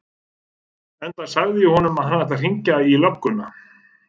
Enda sagði ég honum að hann ætti að hringja í lögguna.